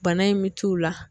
Bana in bɛ t'u la.